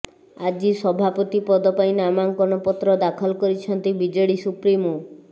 ଆଜି ସଭାପତି ପଦ ପାଇଁ ନାମାଙ୍କନପତ୍ର ଦାଖଲ କରିଛନ୍ତି ବିଜେଡି ସୁପ୍ରିମୋ